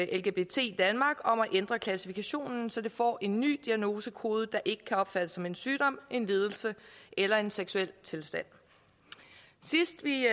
lgbt danmark om at ændre klassifikationen så det får en ny diagnosekode der ikke kan opfattes som en sygdom en lidelse eller en seksuel tilstand sidst vi